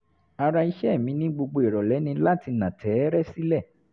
ara ìṣe mi ní gbogbo ìrọ̀lẹ́ ni láti nà tẹ́ẹ́rẹ́ sílẹ̀